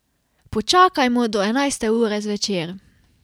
Počakajmo do enajste ure zvečer.